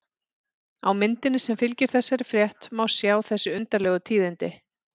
Á myndinni sem fylgir þessari frétt má sjá þessi undarlegu tíðindi.